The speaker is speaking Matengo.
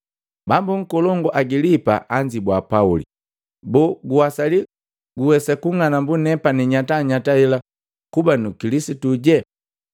Bambu nkolongu Agilipa anzibua Pauli, “Boo, guwasali guwensa kung'anambu nepani nyatanyata hela kuba nu Nkilisitu?”